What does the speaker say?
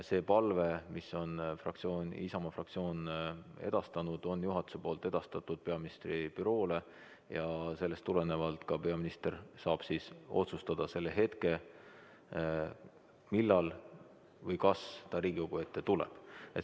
See palve, mille Isamaa fraktsioon on esitanud, on juhatuse poolt edastatud peaministri büroole ja sellest tulenevalt saab peaminister otsustada selle hetke, millal või kas ta Riigikogu ette tuleb.